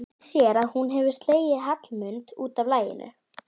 Hún sér að hún hefur slegið Hallmund út af laginu.